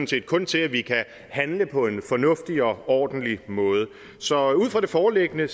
set kun til at vi kan handle på en fornuftig og ordentlig måde så ud fra det foreliggende